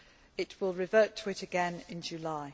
It will revert to it again in July.